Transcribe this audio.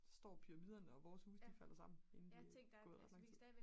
står pyramiderne og vores huse de falder sammen inden der er gået ret lang tid